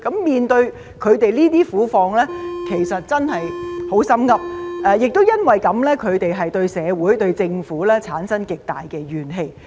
面對他們這些苦況，其實真的很"心噏"，他們亦因此而對社會和政府產生極大的怨氣。